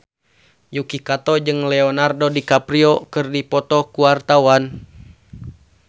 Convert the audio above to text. Yuki Kato jeung Leonardo DiCaprio keur dipoto ku wartawan